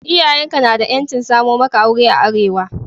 Iyayen ka na da 'yancin samo maka aure a Arewa.